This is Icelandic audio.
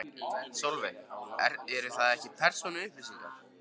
Sólveig: Eru það ekki persónuupplýsingar?